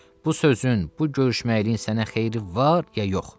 Bu sözün, bu görüşməyiliyin sənə xeyri var ya yox?